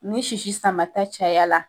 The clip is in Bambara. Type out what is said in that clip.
Ni sisi sama ta caya la